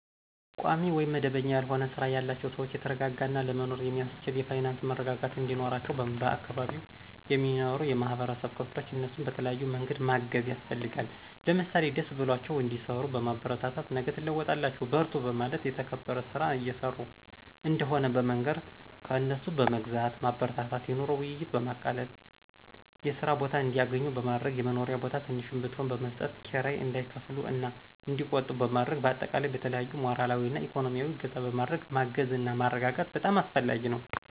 ቋሚ ውይም መደበኛ ያልሆነ ስራ ያላቸውን ሰዎች የተረጋጋ እና ለመኖር የሚአስችል የፋይናንስ መረጋጋት እንዲኖራቸው በአካባቢው የሚኖሩ የማህበረሰብ ክፍሎች እነሱን በተለያዬ መንገድ ማገዝ ያስፈልጋል። ለምሳሌ ደስ ብሏቸው እንዲሰሩ በማበረታታት ነገ ትለወጣላቹ በርቱ በማለት የተከበረ ስራ እየሰሩ እንደሆነ በመንገር፣ ከእነሱ በመግዛት ማበረታታት፣ የኑሮ ውይይትን በማቃለል የስራ ቦታ እንዲአገኙ በማድረግ፣ የመኖሪያ ቦታ ትንሽም ብትሆን በመስጠት ክራይ እንዳይከፍሉ እና እንዲቆጥቡ በማድረግ በአጠቃላይ በተለያዪ ሞራላዊ እና እኮኖሚአዊ እገዛ በማድረግ ማገዝና ማረጋጋት በጣም አስፈላጊ ነው።